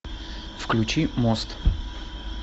включи мост